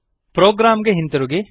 program ಗೆ ಹಿಂತಿರುಗಿ